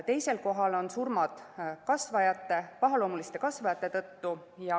Teisel kohal on surmad pahaloomuliste kasvajate tõttu.